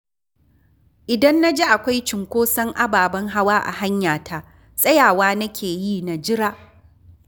Idan na ji akwai cunkoson ababen hawa a hanyata, tsayawa nake yi na jira